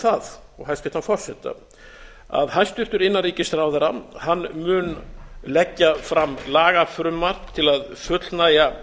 það og hæstvirtan forseta að hæstvirtur innanríkisráðherra mun leggja fram lagafrumvarp til að fullnægja